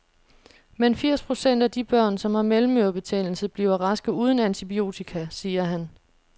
Men firs procent af de børn, som har mellemørebetændelse, bliver raske uden antibiotika, siger han.